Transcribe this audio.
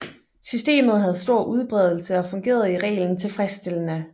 Systemet havde stor udbredelse og fungerede i reglen tilfredsstillende